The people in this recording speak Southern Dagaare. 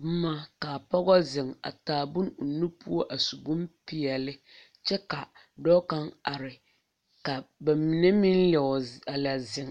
boma ka pɔgɔ zeŋ a taa bone o nu poɔ a su bompeɛle kyɛ ka dɔɔ kaŋ are ka ba mine meŋ a Leo a lɛ zeŋ.